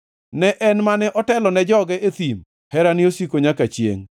ne En mane otelo ne joge e thim, Herane osiko nyaka chiengʼ.